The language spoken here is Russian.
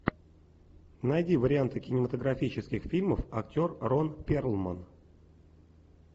найди варианты кинематографических фильмов актер рон перлман